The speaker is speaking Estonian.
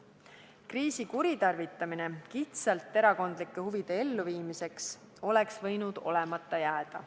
Kriisi kuritarvitamine kitsalt erakondlike huvide elluviimiseks oleks võinud olemata jääda.